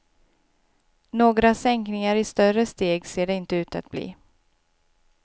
Några sänkningar i större steg ser det inte ut att bli.